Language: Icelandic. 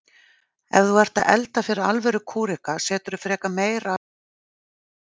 Ef þú ert að elda fyrir alvöru kúreka seturðu frekar meira af honum en minna.